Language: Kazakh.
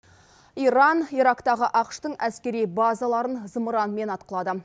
иран ирактағы ақш тың әскери базаларын зымыранмен атқылады